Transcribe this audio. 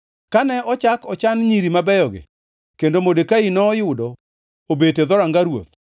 Kane ochak ochan nyiri mabeyogi kendo Modekai noyudo obet e dhoranga ruoth.